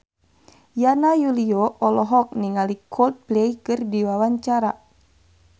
Yana Julio olohok ningali Coldplay keur diwawancara